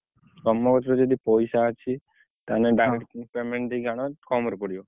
ତମ କତିରେ ଯଦି ପଇସା ଅଛି ତାହେଲେ down payment ଦେଇକି ଆଣଭାରି କମ୍ ରେ ପଡିବ।